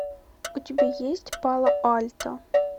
у тебя есть пало альто